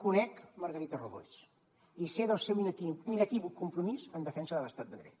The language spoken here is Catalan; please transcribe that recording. conec margarita robles i sé del seu inequívoc compromís en defensa de l’estat de dret